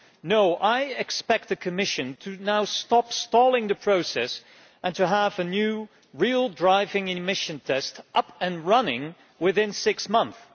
So firstly, I expect the Commission to now stop stalling the process and to have a new real driving emissions test up and running within six months.